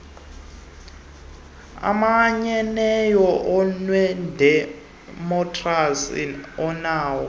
omanyeneyo nowedemokhrasi onakho